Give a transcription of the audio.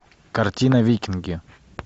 картина викинги